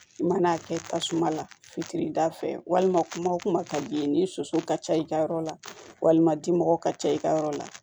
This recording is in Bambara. I mana a kɛ tasuma la fitiri da fɛ walima kuma wo kuma ka d'i ye ni soso ka ca i ka yɔrɔ la walima dimɔgɔ ka ca i ka yɔrɔ la